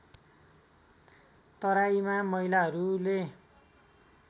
तराईमा महिलाहरूले